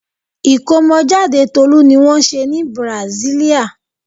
Ìkómọjáde Tolú ni wọ́n ṣe ní Brasilia.